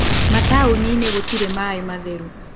Mataũninĩ gũtirĩ maĩ matheru.